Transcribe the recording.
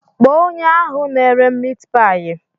Kpọọ onye ahụ na-ere miit paayi.